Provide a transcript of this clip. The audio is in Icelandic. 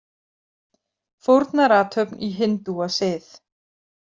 Fórnarathöfn í hindúasið.